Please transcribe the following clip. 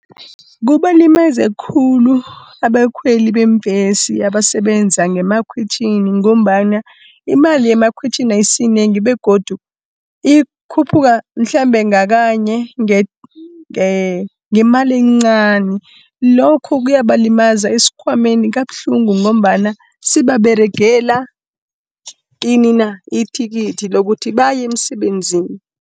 Kubalimaza khulu abakhweli beembhesi abasebenza ngemakhwitjhini, ngombana imali yemakhwitjhini ayisiyinengi, begodu ikhuphuka mhlambe ngakanye ngemali encani. Lokho kuyabalimaza esikhwameni kabuhlungu ngombana, sebaberegela ini na, ithikithi lokuthi baye emsebenzini.